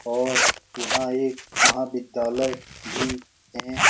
और यहाँ एक महाविद्यालय भी हैं ।